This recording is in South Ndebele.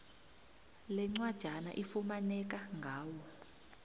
lencwajana ifumaneka ngawo